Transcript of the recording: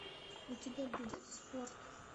у тебя будет спорт